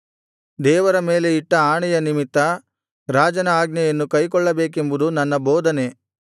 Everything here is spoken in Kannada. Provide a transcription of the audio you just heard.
ದೇವರ ಮೇಲೆ ಇಟ್ಟ ಆಣೆಯ ನಿಮಿತ್ತ ರಾಜನ ಆಜ್ಞೆಯನ್ನು ಕೈಕೊಳ್ಳಬೇಕೆಂಬುದು ನನ್ನ ಬೋಧನೆ